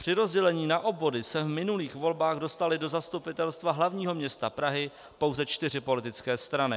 Při rozdělení na obvody se v minulých volbách dostaly do Zastupitelstva hlavního města Prahy pouze čtyři politické strany.